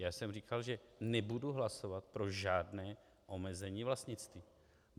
Já jsem říkal, že nebudu hlasovat pro žádné omezení vlastnictví.